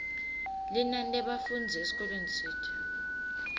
linani lebafundzi esikolweni tsite